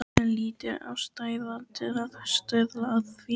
Lítil ástæða til að stuðla að því.